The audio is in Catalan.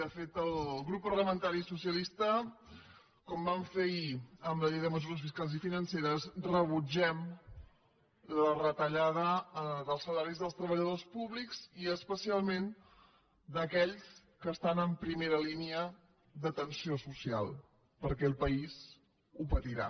de fet el grup parlamentari socialista com vam fer ahir amb la llei de mesures fiscals i financeres rebutgem la retallada dels salaris dels treballadors públics i especialment d’aquells que estan en primera línea d’atenció social perquè el país ho patirà